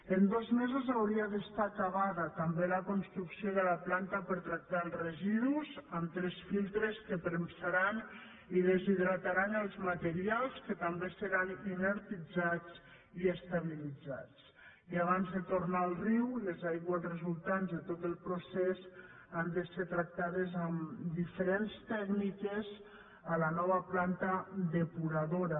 en dos mesos hauria d’estar acabada també la construcció de la planta per a tractar els residus amb tres filtres que premsaran i deshidrataran els materials que també seran inertitzats i estabilitzats i abans de tornar al riu les aigües resultants de tot el procés han de ser tractades amb diferents tècniques a la nova planta depuradora